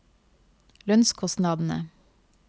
lønnskostnadene